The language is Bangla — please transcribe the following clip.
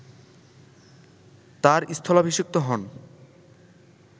তাঁর স্থলাভিষিক্ত হন